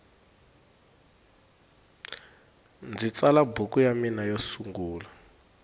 ndzi tsala buku ya mina yo sungula